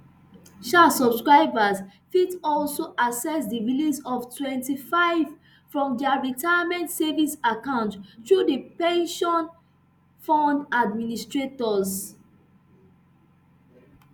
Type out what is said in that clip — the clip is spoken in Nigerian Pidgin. um subscribers fit also access di release of twenty-five from dia retirement savings account through di pension fund administrators